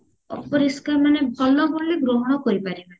ଅପରିଷ୍କାର ମାନେ ଭଲ ବୋଲିଂ ଗ୍ରହଣ କରିପାରିବାନି